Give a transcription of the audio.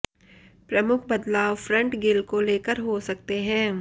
प्रमुख बदलाव front grille को लेकर हो सकते हैं